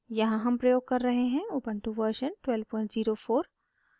यहाँ हम प्रयोग कर रहे हैं उबन्टु वर्शन 1204